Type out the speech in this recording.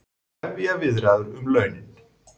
Hefja viðræður um launin